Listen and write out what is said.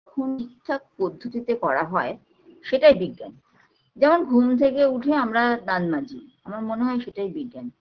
কখন ঠিকঠাক পদ্ধতিতে করা হয় সেটাই বিজ্ঞান যেমন ঘুম থেকে উঠে আমরা দান মাজি আমার মনে হয় সেটাই বিজ্ঞান